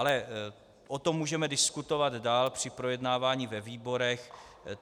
Ale o tom můžeme diskutovat dál při projednávání ve výborech.